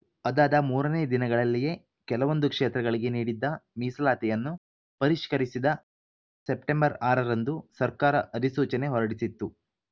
ಅದಾದ ಮೂರನೇ ದಿನಗಳಲ್ಲಿಯೇ ಕೆಲವೊಂದು ಕ್ಷೇತ್ರಗಳಿಗೆ ನೀಡಿದ್ದ ಮೀಸಲಾತಿಯನ್ನು ಪರಿಷ್ಕರಿಸಿದ ಸೆಪ್ಟೆಂಬರ್ ಆರರಂದು ಸರ್ಕಾರ ಅಧಿಸೂಚನೆ ಹೊರಡಿಸಿತ್ತು